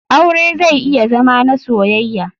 Aure zai iya Zama na soyaya.